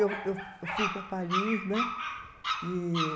Eu, eu eu fui para Paris, né? E